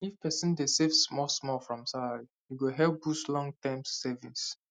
if person dey save smallsmall from salary e go help boost longterm savings